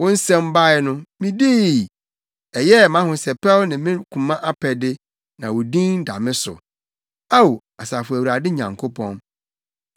Wo nsɛm bae no, midii; ɛyɛɛ mʼahosɛpɛw ne me koma apɛde, na wo din da me so, Ao, Asafo Awurade Nyankopɔn.